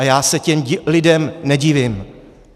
A já se těm lidem nedivím!